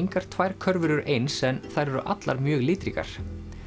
engar tvær körfur eru eins en þær eru allar mjög litríkar